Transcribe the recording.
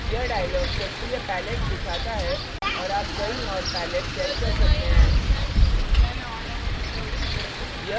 यह dialog सक्रिय pallet दिखाता है और आप कहीं और pallet set कर सकते हैं